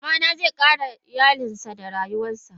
Babana ze kare iyalinsa da rayuwansa.